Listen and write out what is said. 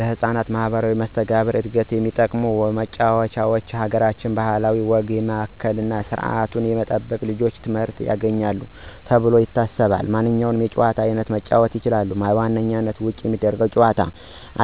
ለህፃናት ማህበራዊ መስተጋብር ዕድገት የሚጠቅሙ ጭዋታውች የአገራችንን ባህል እና ወግ ያማከለ ስርዓቱን የጠበቀ ልጆች ትምህርት ያገኙበታል ተብሎ የታሰበውን ማንኛውንም የጨዋታ አይነት መጫወት ይችላሉ። በዋናነት በውጭ የሚደረጉ የጭዋታ